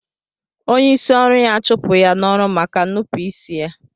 Onye isi ọru ya chụpụ ya n'ọrụ maka nupu isi ya.